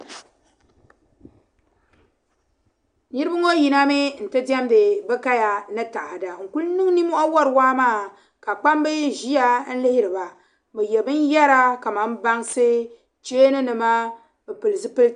Niriba ŋɔ yinami nti wari bɛ kaya ni taada. N-ku niŋ nimmɔhi wari waa maa ka kpamba ʒia n-lihiri ba. Bɛ ye binyɛra kamani bansi cheeninima m-pili zipiliti.